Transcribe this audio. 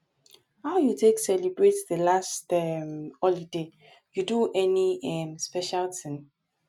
how you take celebrate di last um holiday you do any um special thing